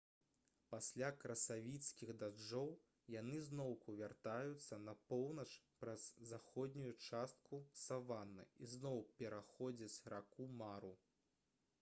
пасля красавіцкіх дажджоў яны зноўку вяртаюцца на поўнач праз заходнюю частку саваны і зноў пераходзяць раку мару